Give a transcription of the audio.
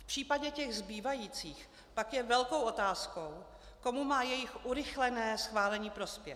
V případě těch zbývajících pak je velkou otázkou, komu má jejich urychlené schválení prospět.